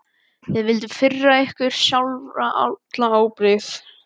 Þið vilduð firra ykkur sjálfa allri ábyrgð.